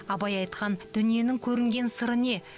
абай айтқан дүниенің көрінген сыры не